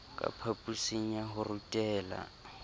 ka phaposing ya ho rutela